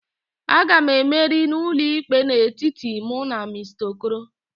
A ga m emeri n'ụlọikpe a n'etiti mụ na Mr. okoro